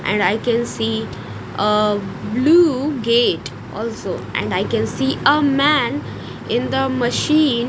and i can see uh blue gate also and i can see a man in the machine.